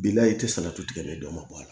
Bila in i tɛ salati tigɛ nin dɔ ma bɔ a la